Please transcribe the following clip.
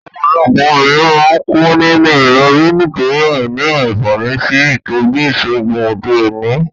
Òpòlopò obìnrin má n kú nínú ìrobí nítorí àìní ànfàní sí ìtójú ìsègùn òde òní